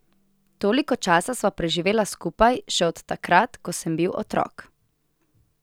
Toliko časa sva preživela skupaj, še od takrat, ko sem bil otrok.